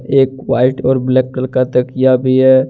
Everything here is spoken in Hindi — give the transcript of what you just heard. एक वाइट और ब्लैक कलर का तकिया भी है।